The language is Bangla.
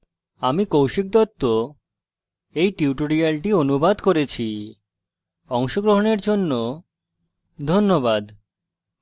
আমি কৌশিক দত্ত এই টিউটোরিয়ালটি অনুবাদ করেছি অংশগ্রহনের জন্য ধন্যবাদ